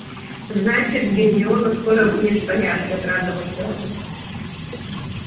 значит гермиона скоро будет в порядке обрадовался рон